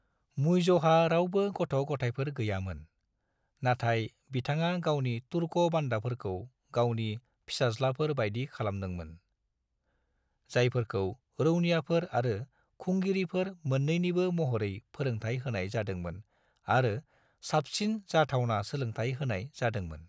मुइजहा रावबो गथ'-गथायफोर गैयामोन, नाथाय बिथाङा गावनि तुर्क बान्दाफोरखौ गावनि फिसाज्लाफोर बायदि खालामदोंमोन, जायफोरखौ रौनियाफोर आरो खुंगिरिफोर मोन्नैनिबो महरै फोरोंथाय होनाय जादोंमोन आरो साबसिन जाथावना सोलोंथाय होनाय जादोंमोन।